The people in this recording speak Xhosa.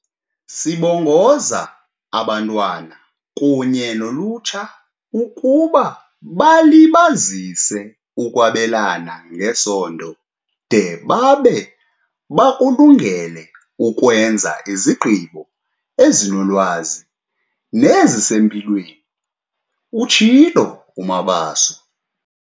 "Sibongoza abantwana kunye nolutsha ukuba balibazise ukwabelana ngesondo de babe bakulungele ukwenza izigqibo ezinolwazi nezisempilweni," utshilo uMabaso.